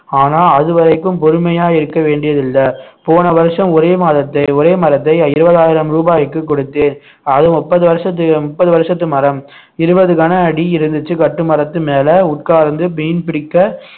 ஆனா அது வரைக்கும் பொறுமையா இருக்க வேண்டியதில்லை போன வருஷம் ஒரே மாதத்தை ஒரே மரத்தை இருபதாயிரம் ரூபாய்க்கு கொடுத்தேன் அது முப்பது வருஷத்து முப்பது வருஷத்து மரம் இருபது கன அடி இருந்துச்சு கட்டுமரத்து மேலே உட்கார்ந்து மீன் பிடிக்க